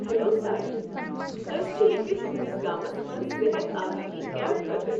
Hello سارِنٕے، أسۍ چھ ییٚتہ تُہنٛدس گامس منٛز صحت آگٲہی کیمپ خٲطرٕ۔